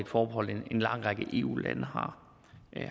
forbehold en lang række eu lande